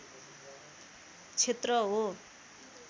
क्षेत्र हो